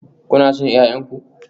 Kuna son 'ya'yan ku?